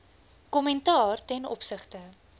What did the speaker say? kommentaar ten opsigte